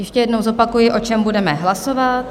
Ještě jednou zopakuji, o čem budeme hlasovat.